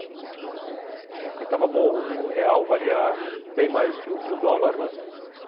Na época que estava bom, o real valia bem mais que que o dólar, né?